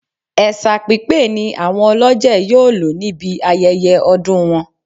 Ẹ̀ṣà pípé ni àwọn olọ́jẹ̀ yóò lò níbi ayẹyẹ ọdún wọn